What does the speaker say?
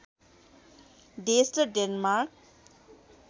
देश र डेनमार्क